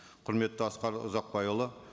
құрметті асқар ұзақбайұлы